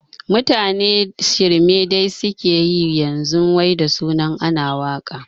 Mutane shirme dai suke yi yanzu wai da sunan ana waƙa